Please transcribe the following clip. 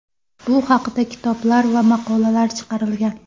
Bu haqda kitoblar va maqolalar chiqarilgan.